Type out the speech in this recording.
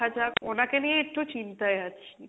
দেখা যাক, ওনাকে নিয়ে একটু চিন্তাই আছি,